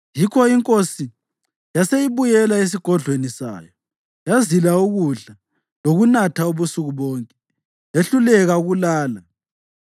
Yikho inkosi yase ibuyela esigodlweni sayo yazila ukudla lokunatha ubusuku bonke. Yehluleka ukulala.